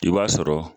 I b'a sɔrɔ